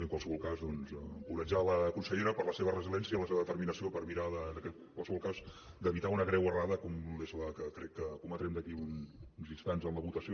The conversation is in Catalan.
en qualsevol cas doncs encoratjar la consellera per la seva resiliència i la seva determinació per mirar en qualsevol cas d’evitar una greu errada com és la que crec que cometrem d’aquí a uns instants en la votació